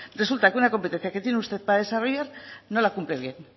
resulta que una competencia que tiene usted para desarrollar no la cumple bien